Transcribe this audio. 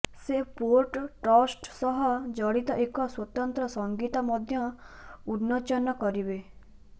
ସେ port trust ସହ ଜଡ଼ିତ ଏକ ସ୍ବତନ୍ତ୍ର ସଂଗୀତ ମଧ୍ୟ ଉନ୍ମୋଚନ କରିବେ